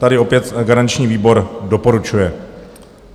Tady opět garanční výbor doporučuje.